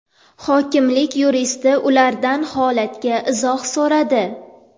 Hokimlik yuristi ulardan holatga izoh so‘radi.